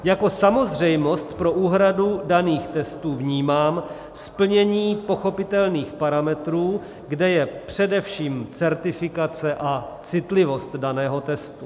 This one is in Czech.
Jako samozřejmost pro úhradu daných testů vnímám splnění pochopitelných parametrů, kde je především certifikace a citlivost daného testu.